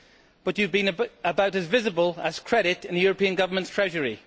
But you have been about as visible as credit in the European governments' treasury.